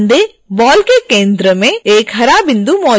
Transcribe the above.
ध्यान दें बॉल के केंद्र में एक हरा बिंदु मौजूद है